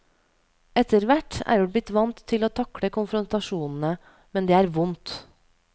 Etterhvert er vi blitt vant til å takle konfrontasjonene, men det er vondt.